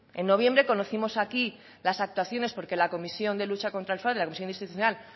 en noviembre conocimos aquí las actuaciones porque la comisión de lucha contra el fraude la comisión institucional